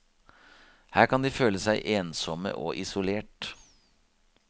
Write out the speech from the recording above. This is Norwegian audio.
Her kan de føle seg ensomme og isolert.